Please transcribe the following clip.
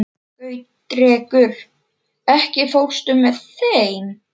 Gautrekur, ekki fórstu með þeim?